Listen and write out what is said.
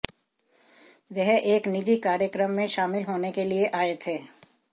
वह एक निजी कार्यक्रम में शामिल होने के लिए आए थे